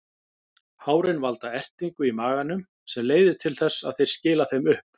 Hárin valda ertingu í maganum sem leiðir til þess að þeir skila þeim upp.